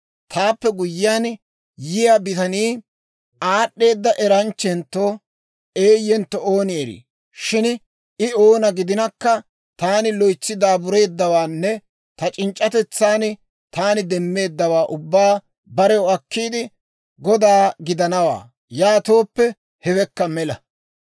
Taappe guyyiyaan yiyaa bitanii aad'd'eeda eranchchentto eeyentto ooni erii? Shin I oona gidinakka, taani loytsi daabureeddawaanne ta c'inc'c'atetsan taani demmeeddawaa ubbaa barew akkiide, goda gidanawaa; yaatooppe, hewekka mela.